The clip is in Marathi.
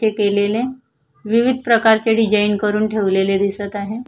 ते केलेले विविध प्रकारचे डिझाइन करुन ठेवलेले दिसत आहे.